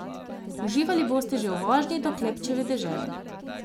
Uživali boste že v vožnji do Klepčeve dežele.